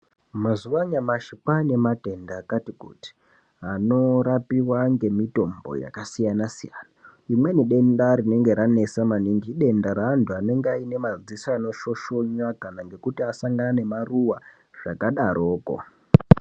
Mazuwa anyamashi kwaane matenda akati kuti anorapiwa ngemitombo yakasiyanasiyana rimweni denda rinenge ranesa maningi idenda reanhu anemadziso anoshoshonya kana ngekuti asangana nemaruwa zvakadaroko.